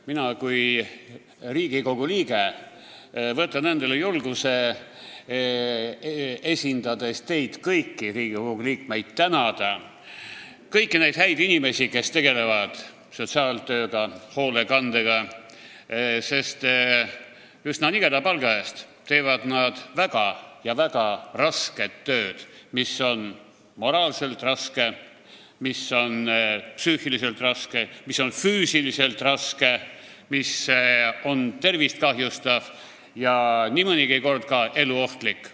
Mina kui Riigikogu liige võtan endale julguse – esindades teid kõiki, Riigikogu liikmeid – tänada kõiki neid häid inimesi, kes tegelevad sotsiaaltööga, hoolekandega, sest üsna nigela palga eest teevad nad väga ja väga rasket tööd, mis on moraalselt raske, mis on psüühiliselt raske, mis on füüsiliselt raske, mis on tervist kahjustav ja nii mõnigi kord ka eluohtlik.